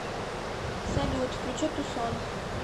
салют включи тусон